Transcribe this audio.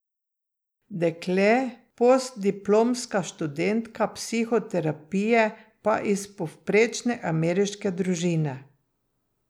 Dekle, postdiplomska študentka psihoterapije pa iz povprečne ameriške družine.